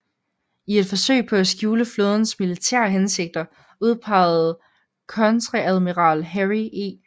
I et forsøg på at skjule flådens militære hensigter udpegede kontreadmiral Harry E